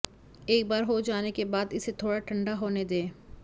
एक बार हो जाने के बाद इसे थोड़ा ठंडा होने दें